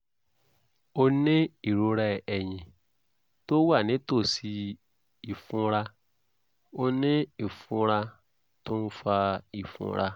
ó ní ìrora ẹ̀yìn tó wà nítòsí ìfunra ó ní ìfunra tó ń fa ìfunra